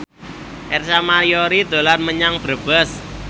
Ersa Mayori dolan menyang Brebes